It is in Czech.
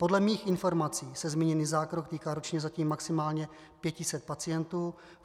Podle mých informací se zmíněný zákrok týká ročně zatím maximálně 500 pacientů.